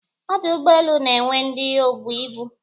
Ọdụ ụgbọelu na-enwe ndị obu ibu